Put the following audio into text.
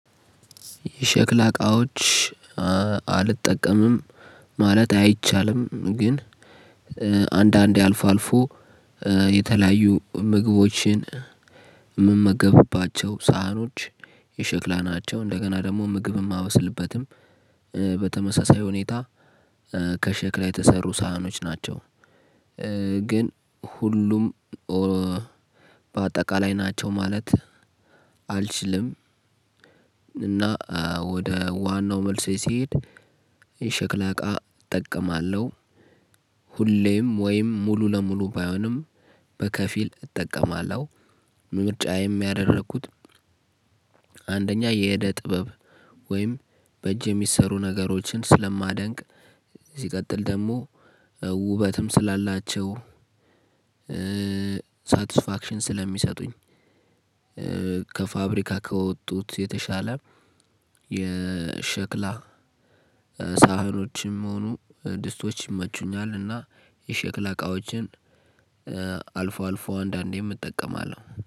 የሸክላ እቃዎች አልጠቀምም። ማለት አይቻልም ግን አንዳንዴ አልፎ አልፎ። የተለያዩ ምግቦችን ምመገብባቸው ሰሃኖች የሸክላ ናቸው። እንደገና ደግሞ ምግብም ማበስልበትም በተመሳሳይ ሁኔታ ከሸክላ የተሰሩ ሰሃኖች ናቸው። ግን ሁሉም ኦ በአጠቃላይ ናቸው ማለት አልችልም። እና ወደ ዋናው መልሴ ስሄድ የሸክላ እቃ እጠቀማለሁ። ሁሌም ወይም ሙሉ ለሙሉ ባይሆንም በከፊል እጠቀማለሁ። ምርጫዬም ያደረኩት አንደኛ የእደ ጥበብ ወይም በእጅ የሚሰሩ ነገሮችን ስለማደንቅ ሲቀጥል ደግሞ ውበትም ስላላቸው። ሳቲስፋክሽን ስለሚሰጡኝ። ከፋብሪካ ከወጡት የተሻለ የሸክላ ሰሃኖችም ሆኑ ድስቶች ይመቹኛል። እና የሸክላ እቃዎችን አልፎ አልፎ አንዳንዴም እጠቀማለሁ